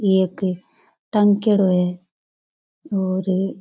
ये एक टाँकेडो है और--